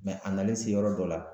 a nalen se yɔrɔ dɔ la